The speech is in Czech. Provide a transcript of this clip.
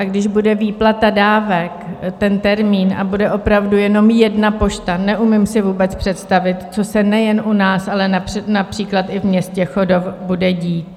A když bude výplata dávek, ten termín, a bude opravdu jenom jedna pošta, neumím si vůbec představit, co se nejen u nás, ale například i v městě Chodov bude dít.